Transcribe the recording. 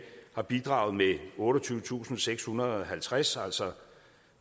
har bidraget med otteogtyvetusinde og sekshundrede og halvtreds altså